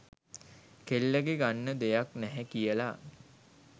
කෙල්ලගේ ගන්න දෙයක්‌ නැහැ කියලා